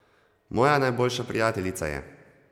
Moja najboljša prijateljica je.